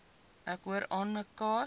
ek hoor aanmekaar